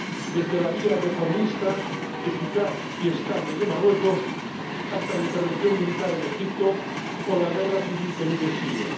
Desde la vía reformista, eficaz y estable de Marruecos hasta la intervención militar en Egipto o la guerra civil que vive Siria.